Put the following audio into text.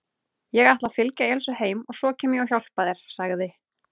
Ég ætla að fylgja Elísu heim og svo kem ég og hjálpa þér sagði